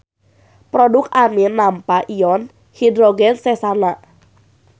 Produk amin nampa ion hidrogen sesana.